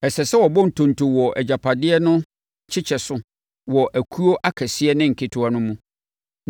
Ɛsɛ sɛ wɔbɔ ntonto wɔ agyapadeɛ no kyekyɛ so wɔ akuo akɛseɛ ne nketewa no mu.”